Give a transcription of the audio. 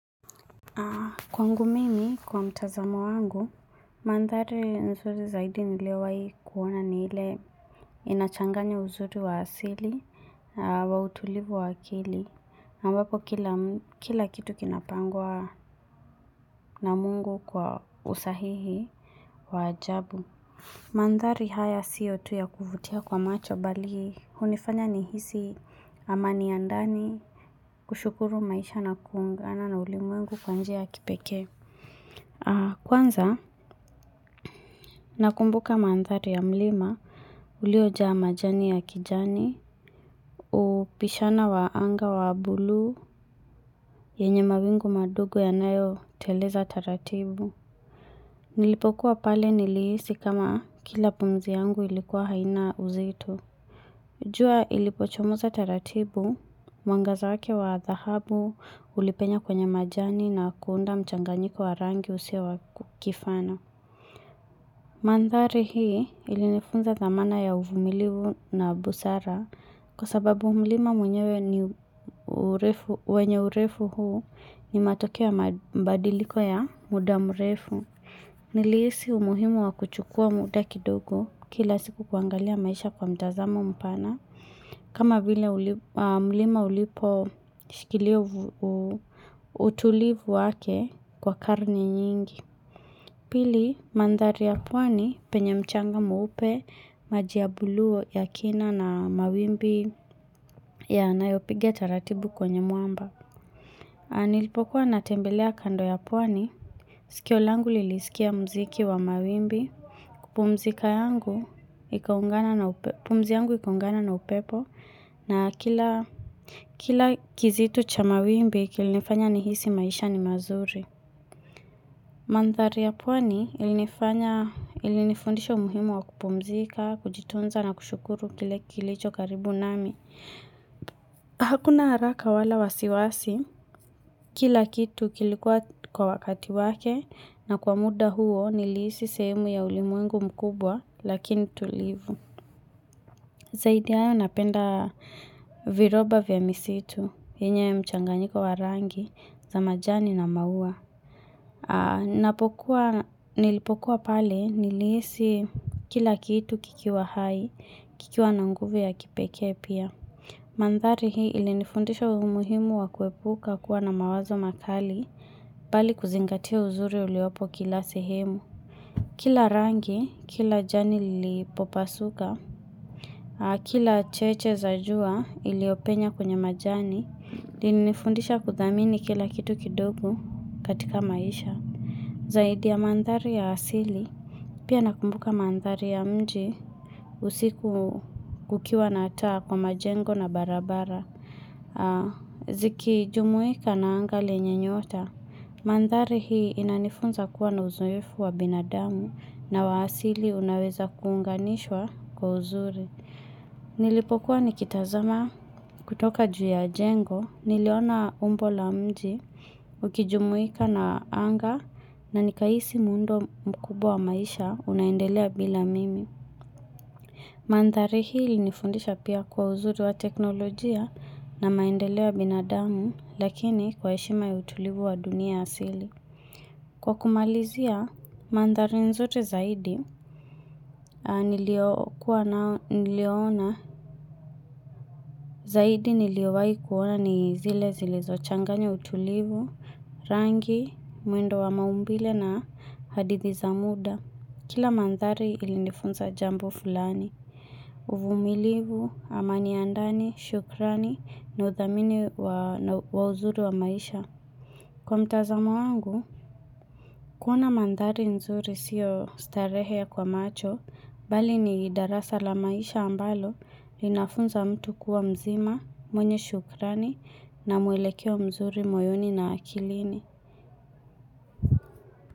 Kwangu mimi kwa mtazamo wangu, mandhari nzuri zaidi niliowai kuona ni ile inachanganya uzuri wa asili wa utulivu wa akili, ambapo kila kitu kinapangwa na Mungu kwa usahihi wa ajabu. Mandhari haya sio tu ya kuvutia kwa macho bali, hunifanya ni hisi amani ya ndani, kushukuru maisha na kuungana na ulimwengu kwa njia kipeke. Kwanza, nakumbuka mandhari ya mlima, uliojaa majani ya kijani, upishana wa anga wa bulu, yenye mawingu madogo ya nayo teleza taratibu. Nilipokuwa pale nilihisi kama kila pumzi yangu ilikuwa haina uzito jua ilipochomoza taratibu, mwangaza wake wa dhahabu, ulipenya kwenye majani na kuunda mchanganyiko warangi usio wakukifana. Mandhari hii ilinifunza dhamana ya uvumilivu na busara kwa sababu mlima mwenyewe ni wenye urefu huu ni matokeo mabadiliko ya muda mrefu. Nilisi umuhimu wa kuchukua muda kidogo kila siku kuangalia maisha kwa mtazamo mpana. Kama vile mlima ulipo shikilia utulivu wake kwa karni nyingi. Pili mandhari ya pwani penye mchanga mweupe maji ya bulu ya kina na mawimbi yanayopiga ta ratibu kwenye mwamba. Na nilipokuwa natembelea kando ya pwani. Sikio langu lilisikia mziki wa mawimbi. Pumzika yangu ikaungana na upepo na kila kizito cha mawimbi kilinifanya nihisi maisha ni mazuri. Mandhari ya pwani ilinifundisha umuhimu wa kupumzika, kujitunza na kushukuru kile kilicho karibu nami. Hakuna haraka wala wasiwasi, kila kitu kilikuwa kwa wakati wake na kwa muda huo nilihisi sehemu ya ulimwengu mkubwa lakini tulivu. Zaidi ya hayo napenda viroba vya misitu, enye mchanganyiko wa rangi za majani na maua. Napokuwa nilipokuwa pale nilihisi kila kitu kikiwa hai, kikiwa na nguvu ya kipekee pia. Mandhari hii ilinifundisha umuhimu wa kuepuka kuwa na mawazo makali, bali kuzingatia uzuri uliopo kila sehemu. Kila rangi, kila jani ilipopasuka, kila cheche zajua iliopenya kwenye majani, nilifundisha kudhamini kila kitu kidogu katika maisha. Zaidi ya mandhari ya asili, pia nakumbuka mandhari ya mji usiku kukiwa na taa kwa majengo na barabara. Ziki jumuika na anga lenye nyota, mandhari hii inanifunza kuwa na uzoefu wa binadamu na wa asili unaweza kuunganishwa kwa uzuri. Nilipokuwa nikitazama kutoka juu ya jengo niliona umbo la mji ukijumuika na anga na nikaisi muundo mkubwa wa maisha unaendelea bila mimi Mandhari hii nifundisha pia kwa uzuri wa teknolojia na maendeleo ya binadamu lakini kwa heshima ya utulivu wa dunia asili Kwa kumalizia, mandhari nzuri zaidi zaidi niliowai kuona ni zile zilizo changanya utulivu, rangi, mwendo wa maumbile na hadithi za muda. Kila mandhari ili nifunza jambo fulani. Uvumilivu, amani ya ndani, shukrani, na uthamini wa uzuri wa maisha. Kwa mtazamo angu, kuona mandhari nzuri sio starehe kwa macho, bali ni darasa la maisha ambalo inafunza mtu kuwa mzima, mwenye shukrani na mwelekeo mzuri moyoni na akilini.